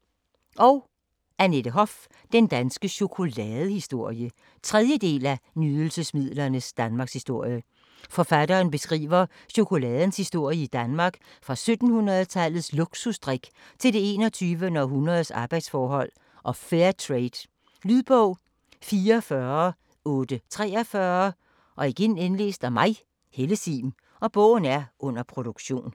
Hoff, Annette: Den danske chokoladehistorie 3. del af Nydelsesmidlernes Danmarkshistorie. Forfatteren beskriver chokoladens historie i Danmark fra 1700-tallets luksus drik til det 21. århundredes arbejdsforhold og Fairtrade. Lydbog 44843 Under produktion